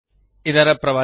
ಧನ್ಯವಾದಗಳು